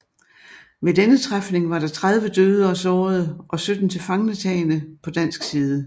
Ved denne træfning var der 30 døde og sårede og 17 tilfangetagne på dansk side